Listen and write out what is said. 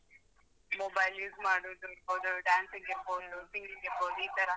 Mobile use ಮಾಡೋದಿರ್ಬೋದು, dancing ಇರ್ಬೋದು singing ಇರ್ಬೋದು ಈತರ.